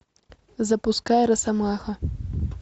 запускай росомаха